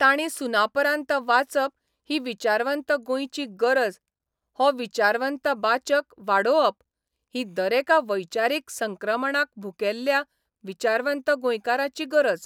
तांणी सुनापरान्त वाचप ही विचारवंत गोंयची गरज हो विचारवंत बाचक वाडोबप ही दरेका वैचारीक संक्रमणाक भुकेल्ल्या विचारवंत गोंयकाराची गरज.